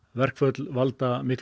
verkföll valda miklu